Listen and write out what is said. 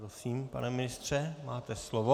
Prosím, pane ministře, máte slovo.